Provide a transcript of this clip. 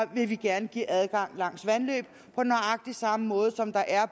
vil vi gerne give adgang langs vandløb på nøjagtig samme måde som der er